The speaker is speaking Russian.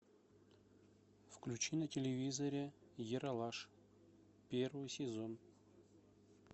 включи на телевизоре ералаш первый сезон